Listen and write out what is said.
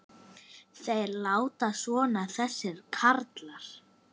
Þeir láta svona þessir karlar.